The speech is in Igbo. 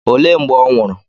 Olee mgbe ọ nwụrụ?